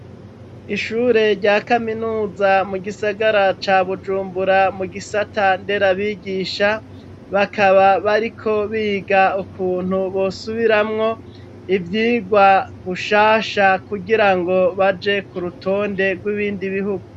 Ishure rya kaminuza mu gisagara ca Bujumbura mu gisata nderabigisha, bakaba bariko biga ukuntu bosubiramwo ivyirwa gushasha kugira ngo baje ku rutonde rw'ibindi bihugu.